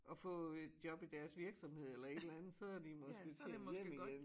At få et job i deres virksomhed eller et eller andet så de måske tjent hjem igen